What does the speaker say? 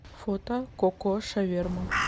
фото ко ко шаверма